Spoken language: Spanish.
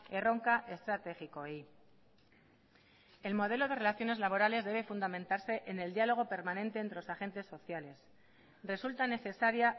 erronka estrategikoei el modelo de relaciones laborales debe fundamentarse en el diálogo permanente entre los agentes sociales resulta necesaria